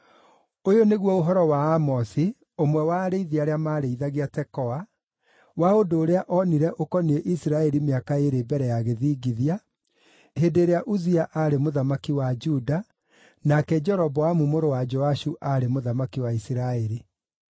Ũyũ nĩguo ũhoro wa Amosi, ũmwe wa arĩithi arĩa maarĩithagia Tekoa, wa ũndũ ũrĩa onire ũkoniĩ Isiraeli mĩaka ĩĩrĩ mbere ya gĩthingithia, hĩndĩ ĩrĩa Uzia aarĩ mũthamaki wa Juda nake Jeroboamu mũrũ wa Joashu aarĩ mũthamaki wa Isiraeli.